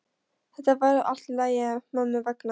Þetta verður allt í lagi mömmu vegna.